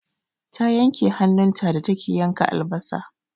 Ta yanke hannun ta da take yanka albasa.